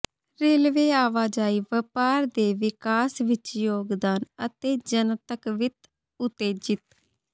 railway ਆਵਾਜਾਈ ਵਪਾਰ ਦੇ ਵਿਕਾਸ ਵਿੱਚ ਯੋਗਦਾਨ ਅਤੇ ਜਨਤਕ ਵਿੱਤ ਉਤੇਜਿਤ